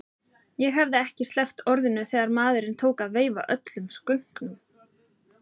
Ég hafði ekki sleppt orðinu þegar maðurinn tók að veifa öllum skönkum.